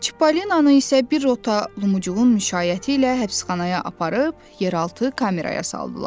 Çipollinonu isə bir rota Lumucuğun müşayiəti ilə həbsxanaya aparıb yeraltı kameraya saldılar.